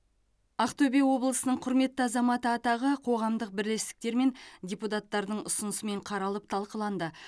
ақтөбе облысының құрметті азаматы атағы қоғамдық бірлестіктер мен депутаттардың ұсынысымен қаралып талқыланды